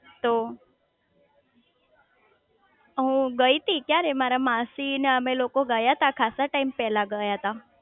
તો હું ગઈ તી ક્યારે મારા માસી ને અમે લોકો ગયા તા ખાસ ટાઈમ પેલા ગયા તા